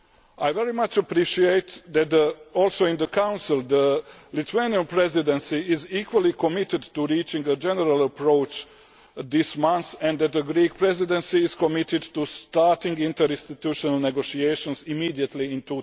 I very much appreciate that, also in the Council, the Lithuanian Presidency is equally committed to reaching a general approach this month and that the Greek Presidency is committed to starting interinstituonal negotiations immediately in